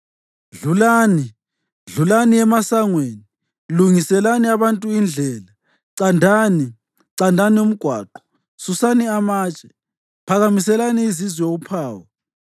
Dlulani, dlulani emasangweni! Lungiselani abantu indlela. Candani, candani umgwaqo! Susani amatshe. Phakamiselani izizwe uphawu.